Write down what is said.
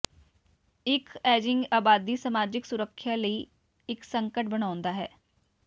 ਇੱਕ ਏਜੀਿੰਗ ਆਬਾਦੀ ਸਮਾਜਿਕ ਸੁਰੱਖਿਆ ਲਈ ਇੱਕ ਸੰਕਟ ਬਣਾਉਂਦਾ ਹੈ